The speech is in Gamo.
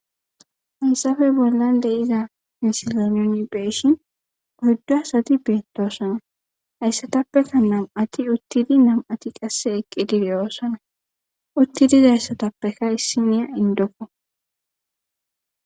hansafe bollan de iza misilanon beeshin oyddu asati beettosana hayssatappekka nam7ati uttidi nam7ati qasse eqqidi reyoosana uttidiza hayssatappeka issiniya indokko